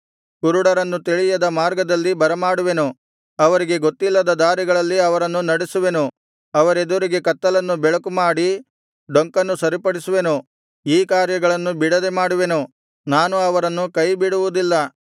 ಕುರುಡರನ್ನು ತಿಳಿಯದ ಮಾರ್ಗದಲ್ಲಿ ಬರಮಾಡುವೆನು ಅವರಿಗೆ ಗೊತ್ತಿಲ್ಲದ ದಾರಿಗಳಲ್ಲಿ ಅವರನ್ನು ನಡೆಸುವೆನು ಅವರೆದುರಿಗೆ ಕತ್ತಲನ್ನು ಬೆಳಕುಮಾಡಿ ಡೊಂಕನ್ನು ಸರಿಪಡಿಸುವೆನು ಈ ಕಾರ್ಯಗಳನ್ನು ಬಿಡದೆ ಮಾಡುವೆನು ನಾನು ಅವರನ್ನು ಕೈ ಬಿಡುವುದಿಲ್ಲ